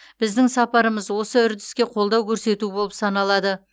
біздің сапарымыз осы үрдіске қолдау көрсету болып саналады